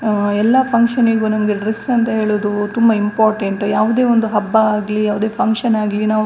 ಆ ಎಲ್ಲ ಫಂಕ್ಷನ್ ಗೂ ನಮಗೆ ಡ್ರೆಸ್ ಅಂತ ಹೇಳೋದು ತುಂಬಾ ಇಂಪಾರ್ಟೆಂಟ್ ಯಾವುದೇ ಒಂದು ಹಬ್ಬ ಆಗಲಿ ಯಾವುದೇ ಫಂಕ್ಷನ್ ಆಗಲಿ ನಾವು.